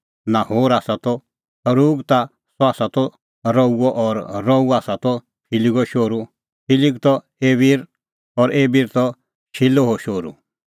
नाहोर त सरूग और सह आसा त रऊओ और रऊ आसा त फिलिगो शोहरू फिलिग त एबिर और एबिर त शिलोहो शोहरू